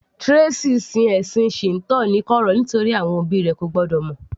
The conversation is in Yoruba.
Tracey sin ẹ̀sìn Shinto ní kọ̀rọ̀ nítorí àwọn òbí rẹ̀ ko gbọ́dọ̀ mọ̀